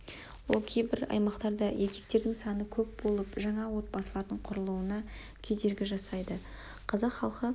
ол кейбір аймақтарда еркектердің саны көп болып жаңа отбасылардың құрылуына кедергі жасайды қазақ халқы